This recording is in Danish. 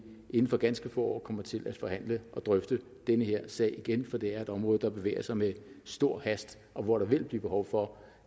inden for ganske få år kommer til at forhandle og drøfte den her sag igen for det er et område der bevæger sig med stor hast og hvor der vil blive behov for